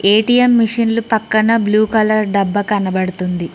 ATM మెషిన్లు పక్కన blue colour డబ్బా కనపడుతుంది.